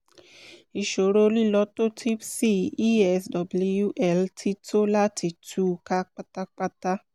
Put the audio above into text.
ìṣòro lílọ́tòtípsì e-s-w-l ti tó láti tú u ká pátápátá